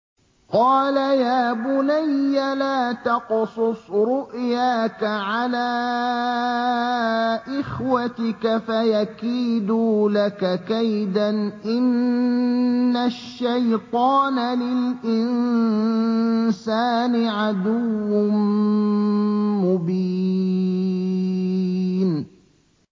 قَالَ يَا بُنَيَّ لَا تَقْصُصْ رُؤْيَاكَ عَلَىٰ إِخْوَتِكَ فَيَكِيدُوا لَكَ كَيْدًا ۖ إِنَّ الشَّيْطَانَ لِلْإِنسَانِ عَدُوٌّ مُّبِينٌ